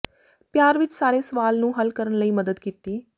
ਪਿਆਰ ਵਿੱਚ ਸਾਰੇ ਸਵਾਲ ਨੂੰ ਹੱਲ ਕਰਨ ਲਈ ਮਦਦ ਕੀਤੀ